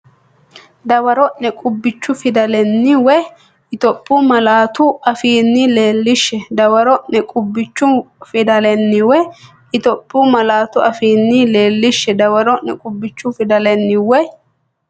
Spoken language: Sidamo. Dawaro’ne qubbichu fidalenni woy Itophiyu malaatu afiinni leellishshe Dawaro’ne qubbichu fidalenni woy Itophiyu malaatu afiinni leellishshe Dawaro’ne qubbichu fidalenni woy.